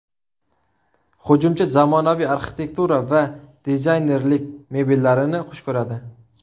Hujumchi zamonaviy arxitektura va dizaynerlik mebellarini xush ko‘radi.